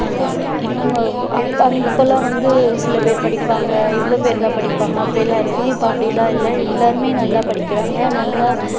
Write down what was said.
இவங்க அப்~ அப்போயெல்லாம் வந்து சில பேரு படிப்பாங்க இவ்ளோ பேர்தான் படிப்பாங்க அப்படியெல்லாம் இருக்கும் இப்போ அப்படியெல்லாம் இல்ல எல்லாருமே நல்லா படிக்கிறாங்க நல்லா